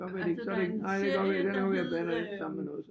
Altså der er en serie der hed øh